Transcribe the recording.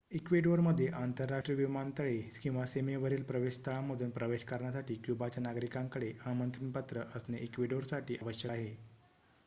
इक्वेडोरमध्ये आंतरराष्ट्रीय विमानातळे किंवा सीमेवरील प्रवेशस्थळांतून प्रवेश करण्यासाठी क्युबाच्या नागरिकांकडे आमंत्रण पत्र असणे इक्वेडोरसाठी आवश्यक आहे